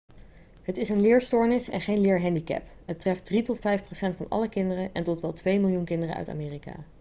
het is een leerstoornis en geen leerhandicap het treft 3 tot 5 procent van alle kinderen en tot wel 2 miljoen kinderen uit amerika'